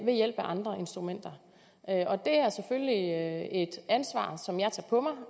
ved hjælp af andre instrumenter og det er selvfølgelig et ansvar som jeg tager på mig